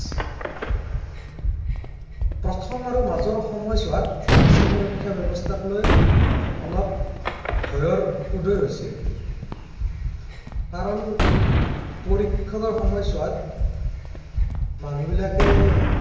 প্ৰথম আৰু মাজৰ সময়ছোৱাত vaccine সুৰক্ষাৰ ব্য়ৱস্থাৰ লৈ অলপ ভয়ৰ উদয় হৈছিল। কাৰণ পৰীক্ষণৰ সময়ছোৱাত মানুহবিলাকে